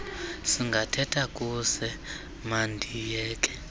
singathetha kuse mandiyeke